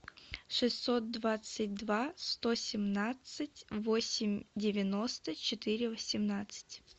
шестьсот двадцать два сто семнадцать восемь девяносто четыре восемнадцать